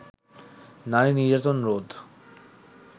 নারী-নির্যাতন রোধ